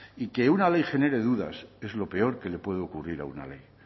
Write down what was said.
y que una ley genere dudas es lo peor que le puede ocurrir a una ley